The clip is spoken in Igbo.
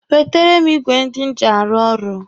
Wetere m ịgwe ndị m ji arụ ọrụ!